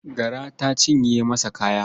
Gara ta cinye masa kaya.